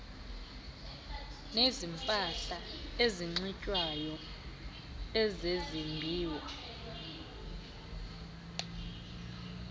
nezempahla enxitywayo ezezimbiwa